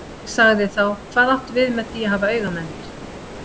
Ég sagði þá: Hvað áttu við með því að hafa auga með mér?